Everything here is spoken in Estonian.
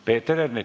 Peeter Ernits.